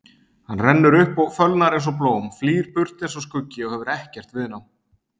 Hann rennur upp og fölnar einsog blóm, flýr burt einsog skuggi og hefur ekkert viðnám.